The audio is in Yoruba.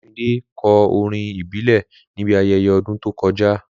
Olumide kọ orin ìbílẹ̀ níbi ayẹyẹ ọdún tó kọjá.